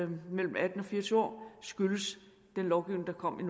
mellem atten og fire og tyve år skyldes den lovgivning der kom i